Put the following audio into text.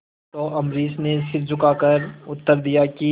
तो अम्बरीश ने सिर झुकाकर उत्तर दिया कि